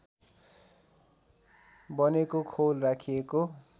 बनेको खोल राखिएको